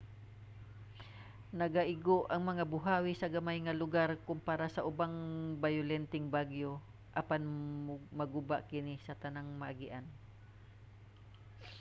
nagaigo ang mga buhawi sa gamay nga lugar kompara sa ubang bayolenteng bagyo apan maguba niini ang tanang maagian